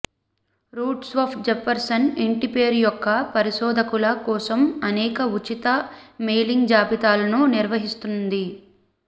RootsWeb Jefferson ఇంటిపేరు యొక్క పరిశోధకుల కోసం అనేక ఉచిత మెయిలింగ్ జాబితాలను నిర్వహిస్తుంది